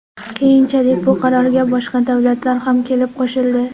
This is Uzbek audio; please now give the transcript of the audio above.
Keyinchalik bu qarorga boshqa davlatlar ham kelib qo‘shildi.